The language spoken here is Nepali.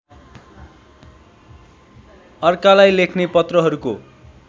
अर्कालाई लेख्ने पत्रहरूको